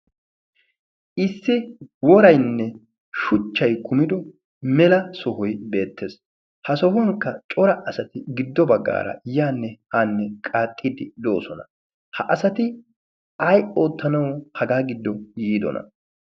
issi woraynne shuchchay kumido mela sohoy beettees ha sohuwnkka cora asati giddo baggaara yaanne haanne qaaxxiddi do'osona ha asati ay oottanawu hagaa giddo yiidona